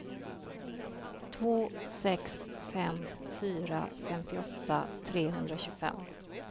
två sex fem fyra femtioåtta trehundratjugofem